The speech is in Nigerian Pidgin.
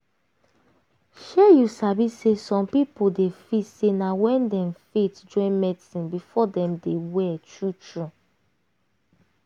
shey you sabi say some pipo dey feel say na wen dem faith join medicine before dem dey well true true.